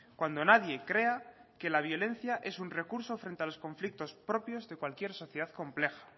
cuando nadie crea que la violencia es un recurso frente a los conflictos propios de cualquier sociedad compleja